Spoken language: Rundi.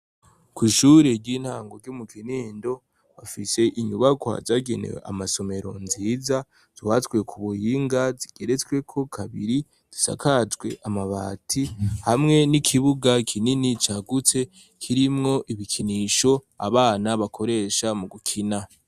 Ko ishuri ry'intango ryo mu kinindo bafishe inyubako hazagenee amasomero nziza zuhatswe ku buhinga zigeretsweko kabiri zisakajwe amabati hamwe n'ikibuga kinini cagutse kirimwo ibikinisho abana bakoresha mu gukina.